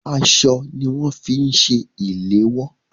Aṣọ ní wọn fi ń ṣe ìléwọ́.